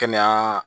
Kɛnɛya